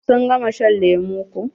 Sun gama shan lemu ko.